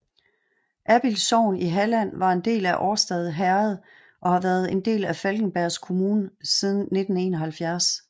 Abild sogn i Halland var en del af Årstad herred og har været en del af Falkenbergs kommun siden 1971